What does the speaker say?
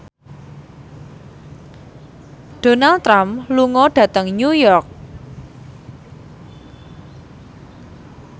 Donald Trump lunga dhateng New York